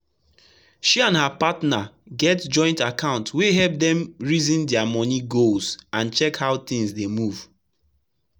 she and her partner get joint account wey help dem reason their money goals and check how things dey move.